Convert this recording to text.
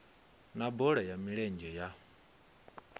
na bola ya milenzhe ya